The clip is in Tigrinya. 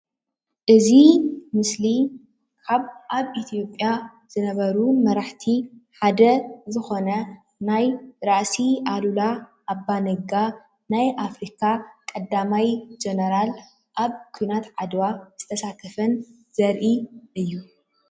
እዚ ምስሊ ኣብ ኢትዮጱያ ዝነበሩ መራሃሓቲ ሓደ ዝኮነ ናይ ራእስ ኣሉላ ኣባ ነጋ ናይ ኣፍሪካ ቀዳማይ ጀነራል ኣብ ኩናት ዓድዋ ዝተሳተፈን ዘርእይ እዩ።